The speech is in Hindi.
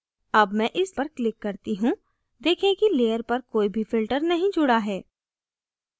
अब मैं इस पर click करती हूँ देखें कि layer पर कोई भी filter नहीं जुड़ा है